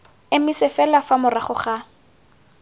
emise fela fa morago ga